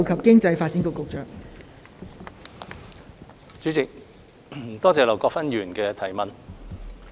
代理主席，多謝劉國勳議員的質詢。